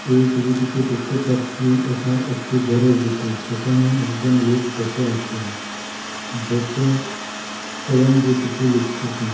এই ছবিটিতে দেখতে পাচ্ছি এটা একটি ঘরের ভিতর সেখানে একজন লোক বসে আছেন বসে কলম দিয়ে কিছু লিখতেছেন।